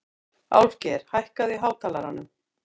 Álfgeir, hækkaðu í hátalaranum.